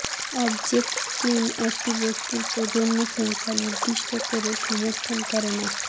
object stream একটি বস্তুর প্রজন্ম সংখ্যা নির্দিষ্ট করে সমর্থন করে না